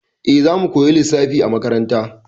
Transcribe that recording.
E, za mu koya lissafi a makaranta.